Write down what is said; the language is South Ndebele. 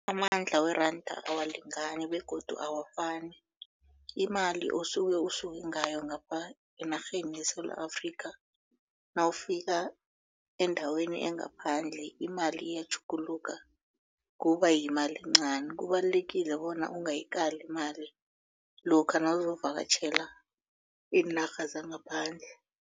Amandla weranda awalingani begodu awafani imali osuke usuke ngayo ngapha enarheni yeSewula Afrika nawufika endaweni engaphandle imali iyatjhuguluka kuba yimali encani kubalulekile bona ungayikali imali lokha nawuzovakatjhela iinarha zangaphandle.